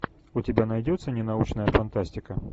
у тебя найдется не научная фантастика